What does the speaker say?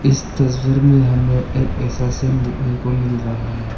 इस तस्वीर में हमें एक ऐसा सीन देखने को मिल रहा है।